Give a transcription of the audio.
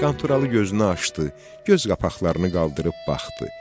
Qanturalı gözünü açdı, göz qapaqlarını qaldırıb baxdı.